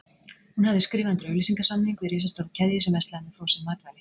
Hún hafði skrifað undir auglýsingasamning við risastóra keðju sem verslaði með frosin matvæli.